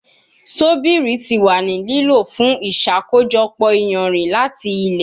Sobiri ti wa ni lilo fun iṣakojọpọ iyanrin lati ilẹ